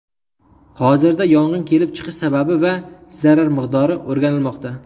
Hozirda yong‘in kelib chiqish sababi va zarar miqdori o‘rganilmoqda.